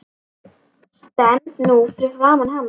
Stend nú fyrir framan hana.